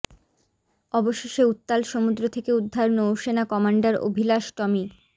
অবশেষে উত্তাল সমুদ্র থেকে উদ্ধার নৌসেনা কমান্ডার অভিলাষ টমি